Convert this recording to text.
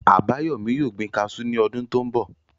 Àbáyọ̀mí yóò gbin kaasú ní ọdún tó n bọ̀